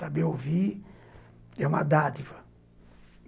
Saber ouvir é uma dádiva.